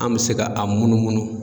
An me se ka a munumunu